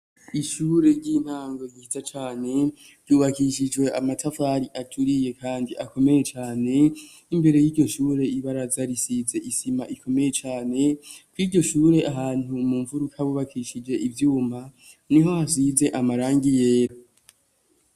Ishure ry'intango ryiza cane ryubakishijwe amatafari aturiye kandi akomeye cane, imbere y'iryo shure ibaraza risize isima ikomeye cane kwiryo shure ahantu mu mfuruka bubakishije ivyuma niho hasize amarangi yera.